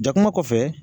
Jakuma kɔfɛ